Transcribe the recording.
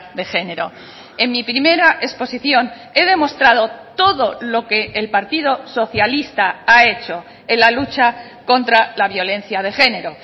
de género en mi primera exposición he demostrado todo lo que el partido socialista ha hecho en la lucha contra la violencia de género